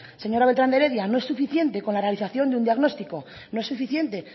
señora bertrán de heredia no es suficiente con la realización de un diagnóstico no es suficiente